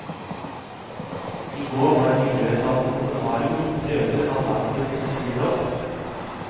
I går var miljøetaten på befaring og tok prøver av dampen som siver opp.